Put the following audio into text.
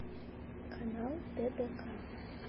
канал тдк